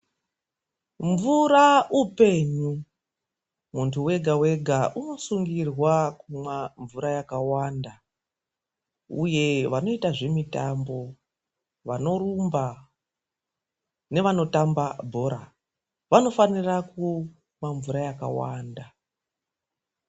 Mvura upenyu, muntu wega wega anosungirwa kumwa mvura yakawanda uye vanoita zvemitambo, vanorumba nevanotamba bhora vanofanira kumwa mvura yakawanda.